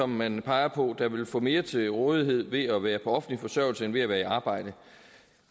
man peger på der vil få mere til rådighed ved at være på offentlig forsørgelse end ved at være i arbejde